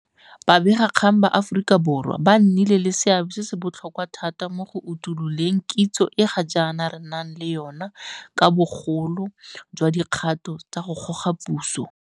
Babegakgang ba Aforika Borwa ba nnile le seabe se se botlhokwa thata mo go utuloleng kitso e ga jaana re nang le yona ka ga bogolo jwa dikgato tsa go goga puso.